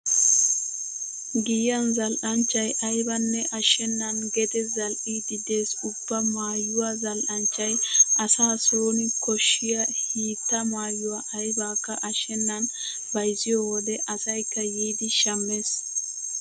Giyan zal"anchchay aybanne ashshennan gede zal"iiddi dees. Ubba maayuwa zal"anchchay asa sooni koshshiya hiitta maayuwa aybakka ashshennan bayzziyo wode asaykka yiidi shammees.